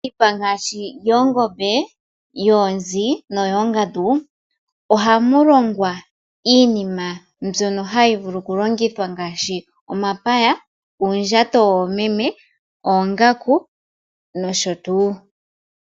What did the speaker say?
Iipa ngaashi yoongombe, yoonzi noyoongandu ohamu longwa iinima mbyono hayi vulu okulongithwa ngaashi omapaya, uundjato woomeme, oongaku nosho tuu.